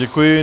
Děkuji.